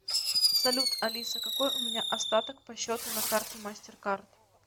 салют алиса какой у меня остаток по счету на карте мастеркард